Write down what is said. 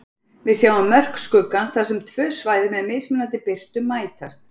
Við sjáum mörk skuggans þar sem tvö svæði með mismunandi birtu mætast.